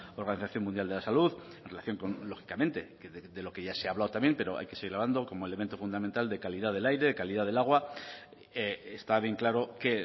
organización mundial de la salud en relación con lógicamente de lo que ya se ha hablado también pero hay que ser hablando como elemento fundamental de calidad del aire de calidad del agua está bien claro que